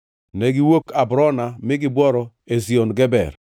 Negiwuok Abrona mi gibworo Ezion Geber.